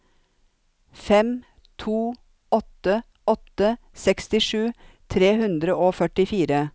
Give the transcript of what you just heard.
fem to åtte åtte sekstisju tre hundre og førtifire